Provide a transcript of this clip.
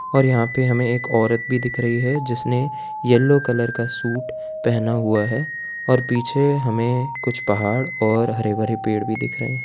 और यहां पे हमें एक औरत भी दिख रही है जिसने येलो कलर का सूट पहना हुआ है और पीछे हमें कुछ पहाड़ और हरे भरे पेड़ भी दिख रहे हैं।